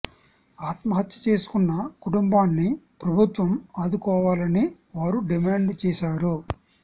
ఆత్మహత్య చేసుకున్న కుటుంబాన్ని ప్రభు త్వం ఆదుకోవాలని వారు డిమాండ్ చేశారు